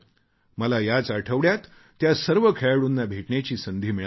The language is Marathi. मला याच आठवड्यात त्या सर्व खेळाडूंना भेटण्याची संधी मिळाली